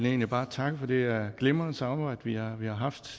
egentlig bare takke for det glimrende samarbejde vi har vi har haft